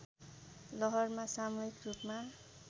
लहरमा सामूहिक रूपमा